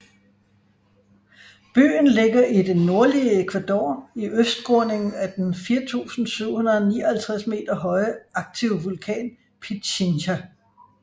Byen ligger i det nordlige Ecuador i østskråningen af den 4759 m høje aktive vulkan Pichincha